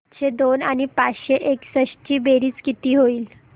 सातशे दोन आणि पाचशे एकसष्ट ची बेरीज किती होईल